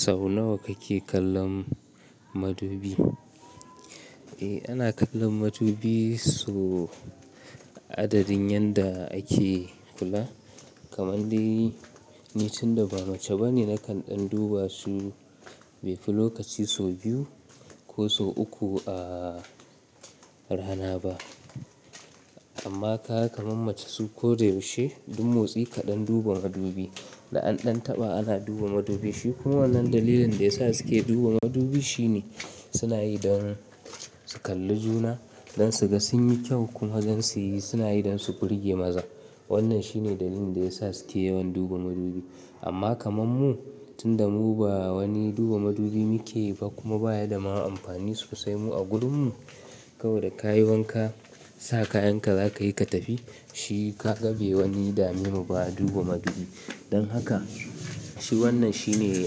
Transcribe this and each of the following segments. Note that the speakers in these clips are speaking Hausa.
Sau nawa kake kallon madubi? Eh, ana kallon madubi so adadin yanda ake kula. Kaman dai tun da ba mace ba ne na kan ɗan duba su, bai fi lokaci so biyu ko so uku a rana ba. Amma ka kamammace su ko da yaushe, duk motsi kaɗan duban madubi. Da an ɗan taɓa ana duba madubi. Shi kuma wannan dalilin da ya sa su ke duba madubi shine suna yi don su kalli juna don su ga sun yi kyau kuma don su yi suna yi don su burge maza. Wannan shine dalilin da ya sa su ke yawan duba madubi. Amma kaman mu, tunda mu ba wani duba madubi muke yi ba kuma ba ya da ma'amfani sosai mu a gurin mu. Kawai da ka yi wanka, sa kayan ka za ka yi ka tafi. Shi kaga be wani dame mu ba duba madubi. Don haka, shi wannan shine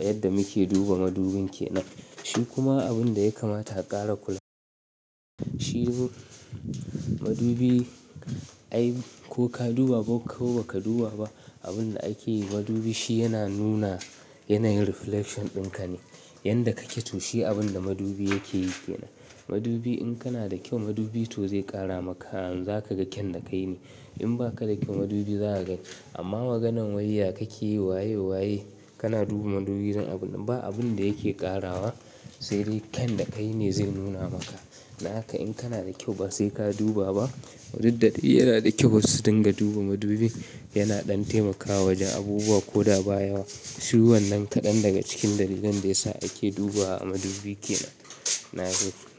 yadda muke duba madubin ke nan. Shi kuma abin da ya kamata a ƙara kula. Shi madubi, ai ko ka duba ko kau ba ka duba ba, abin da ake yi madubi shi yana nuna yanayin reflection ɗin ka ne. Yanda kake to shi abin da madubi yake yi ke nan. Madubi in kana da kyau madubi to zai ƙara maka. An za ka ga kyan da kai ne. In ba ka da kyau madubi za ka ga. Amma maganan wai ya kake waye waye kana duba madubi don abun ba abin da yake ƙarawa sai dai kyan da kai ne zai nuna maka. Na haka in kana da kyau ba sai ka duba ba. Duk da yana da kyau wasu su dinga duba madubi yana ɗan taimakawa wajen abubuwa ko da ba yawa. Shi wannan kaɗan daga cikin dalilan da ya sa ake dubawa a madubi ke nan. Na goge.